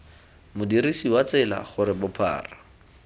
modirisi wa tsela gore bophara